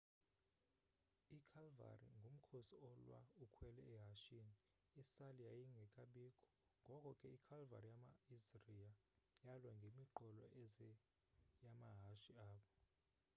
ikhalvari ngumkhosi olwa ukhwele ehashini, isali yayingekabikho ngoko ke ikhalvari yama assria yalwa ngemiqolo eze yamahashe abo